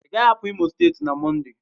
Ị gaghị apụ Imo steeti na Mọnde